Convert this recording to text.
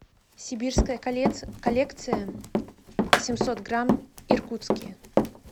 сибирская коллекция семьсот грамм иркутские